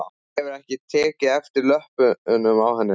Hefurðu ekki tekið eftir löppunum á henni?